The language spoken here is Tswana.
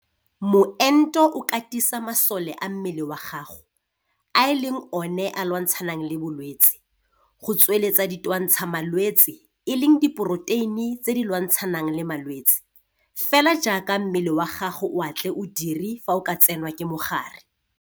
Moento o katisa masole a mmele wa gago, a e leng one a lwantshanang le bolwetse, go tsweletsa ditwantshamalwetse, e leng diporoteine tse di lwantshanang le ma lwetse, - fela jaaka mmele wa gago o a tle o dire fa o ka tsenwa ke mogare.